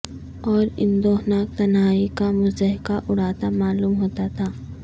اور اندوہناک تنہائی کا مضحکہ اڑاتا معلوم ہوتا تھا